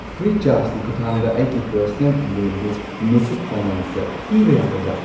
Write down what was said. ꯐ꯭ꯔꯤꯆꯥꯔꯖꯀꯤ ꯈꯨꯊꯥꯡꯗ ꯑꯩꯒꯤ ꯄꯔꯁꯅꯦꯜ ꯂꯣꯟꯗꯨ ꯃꯨꯊꯨꯠ ꯐꯥꯏꯅꯥꯟꯁꯇ ꯊꯤꯕ ꯌꯥꯒꯗ꯭ꯔꯥ?